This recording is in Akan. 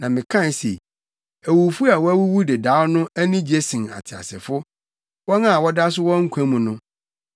Na mekae se: Awufo a wɔawuwu dedaw no, ani gye sen ateasefo; wɔn a wɔda so wɔ nkwa mu no.